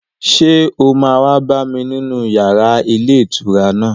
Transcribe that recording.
Ṣé o máa wá bá mi nínú yàrá ilé ìtura náà